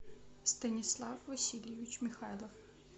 станислав васильевич михайлов